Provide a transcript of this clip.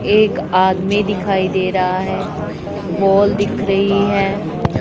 एक आदमी दिखाई दे रहा है वॉल दिख रही है।